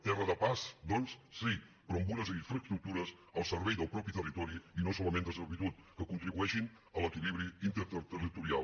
terra de pas doncs sí però amb unes infraestructures al servei del mateix territori i no solament de servitud que contribueixin a l’equilibri interterritorial